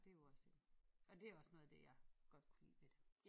Det jo også en og dét også noget af det jeg godt kunne lide ved det